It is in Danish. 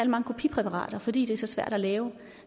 mange kopipræparater fordi de er så svære at lave